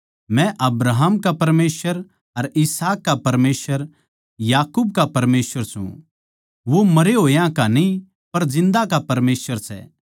मै अब्राहम का परमेसवर अर इसहाक का परमेसवर याकूब का परमेसवर सूं वो मरे होया का न्ही पर जिन्दा का परमेसवर सै